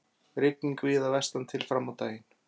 Rigning víða vestantil fram á daginn